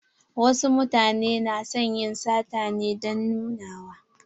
Wasu mutane na son yin sata ne don nunawa.